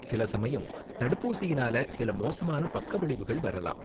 சில சமயம் தடுப்பூசியினால சில மோசமான பக்க விளைவுகள் வரலாம்.